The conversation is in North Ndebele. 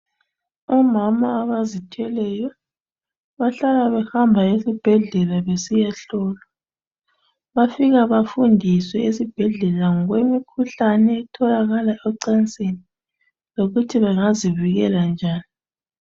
Omama abazithweleyo bahlala behamba esibhedlela besiyahlolwa. Bafika bafundiswe esibhedlela ngemikhuhlane etholakala encansini lokuthi bangazivikela njani.